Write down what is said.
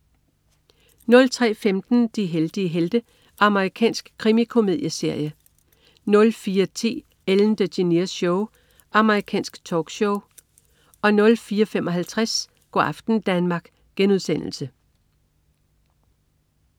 03.15 De heldige helte. Amerikansk krimikomedieserie 04.10 Ellen DeGeneres Show. Amerikansk talkshow 04.55 Go' aften Danmark*